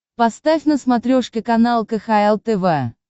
поставь на смотрешке канал кхл тв